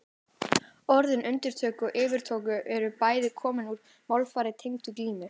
Orðin undirtök og yfirtök eru bæði komin úr málfari tengdu glímu.